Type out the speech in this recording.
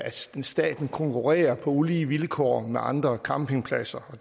staten konkurrerer på ulige vilkår med andre campingpladser og